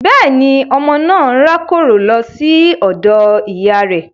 Bẹ́ẹ̀ni, ọmọ naa n rakoro lo si odo iya rẹ